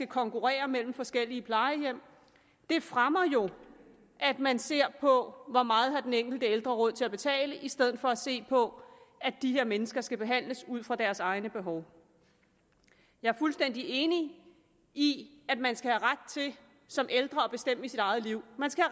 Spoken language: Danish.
konkurrence mellem forskellige plejehjem det fremmer jo at man ser på hvor meget den enkelte ældre har råd til at betale i stedet for at se på at de her mennesker skal behandles ud fra deres egne behov jeg er fuldstændig enig i at man skal have ret til som ældre at bestemme i sit eget liv man skal